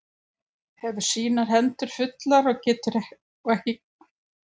Hefur sínar hendur fullar og ekki getað sinnt neitt höggmyndalistinni.